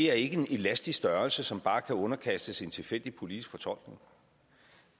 er ikke en elastisk størrelse som bare kan underkastes en tilfældig politisk fortolkning